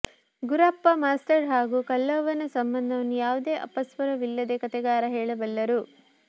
Gurappa master ಹಾಗೂ ಕಲ್ಲವ್ವನ ಸಂಬಂಧವನ್ನು ಯಾವುದೇ ಅಪಸ್ವರವಿಲ್ಲದೇ ಕಥೆಗಾರ ಹೇಳಬಲ್ಲರು